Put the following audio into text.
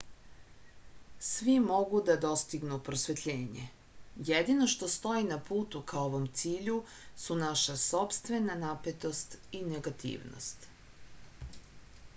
svi mogu da dostignu prosvetljenje jedino što stoji na putu ka ovom cilju su naša sopstvena napetost i negativnost